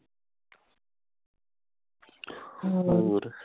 ਹੋਰ